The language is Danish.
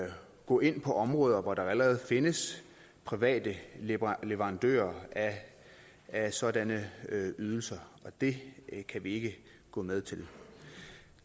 gå ind på områder hvor der allerede findes private leverandører af sådanne ydelser og det kan vi ikke gå med til